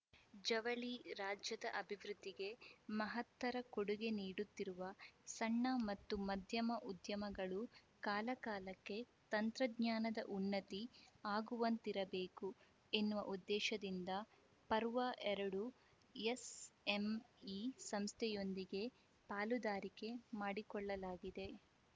ಜವಳಿ ರಾಜ್ಯದ ಅಭಿವೃದ್ಧಿಗೆ ಮಹತ್ತರ ಕೊಡುಗೆ ನೀಡುತ್ತಿರುವ ಸಣ್ಣ ಮತ್ತು ಮಧ್ಯಮ ಉದ್ಯಮಗಳು ಕಾಲಕಾಲಕ್ಕೆ ತಂತ್ರಜ್ಞಾನದ ಉನ್ನತಿ ಆಗುವಂತಿರಬೇಕು ಎನ್ನುವ ಉದ್ದೇಶದಿಂದ ಪರ್ವ ಎರಡು ಎಸ್‌ಎಂಇ ಸಂಸ್ಥೆಯೊಂದಿಗೆ ಪಾಲುದಾರಿಕೆ ಮಾಡಿಕೊಳ್ಳಲಾಗಿದೆ